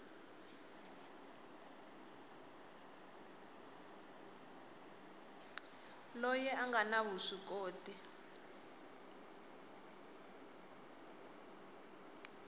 loyi a nga na vuswikoti